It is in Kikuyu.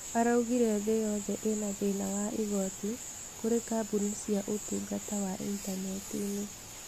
Araugire thĩ yothe ĩna thĩna wa igoti kũrĩ kambuni cia ũtungata wa intaneti-inĩ.